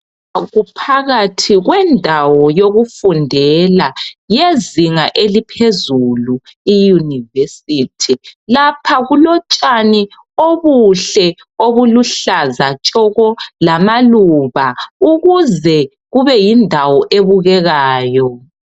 Kuphakathi kwendawo yokufundela yezinga eliphezulu iyunivesithi lapha kulotshani obuhle obuluhlaza tshoko lamaluba ukuze kube yindawo ebukekayo.